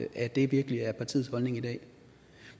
at det virkelig er partiets holdning i dag